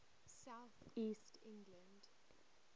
south east england